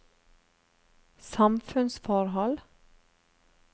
samfunnsforhold